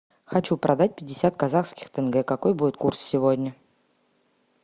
хочу продать пятьдесят казахских тенге какой будет курс сегодня